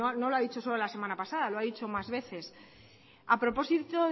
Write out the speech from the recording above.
no lo ha dicho solo la semana pasada lo ha dicho más veces a propósito